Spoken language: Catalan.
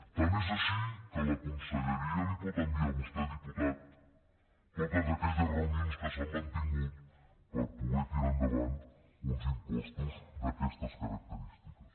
tant és així que la conselleria li pot enviar a vostè diputat totes aquelles reunions que s’han mantingut per poder tirar endavant uns impostos d’aquestes característiques